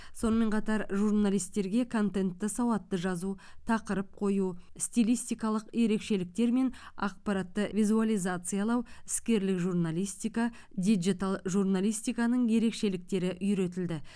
сонымен қатар журналистерге контентті сауатты жазу тақырып қою стилистикалық ерекшеліктер мен ақпаратты визуализациялау іскерлік журналистика диджитал журналистиканың ерекшеліктері үйретілді